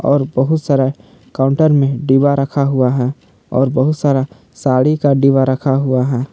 और बहुत सारा काउंटर में डिब्बा रखा हुआ है और बहुत सारा साड़ी का डिब्बा रखा हुआ है।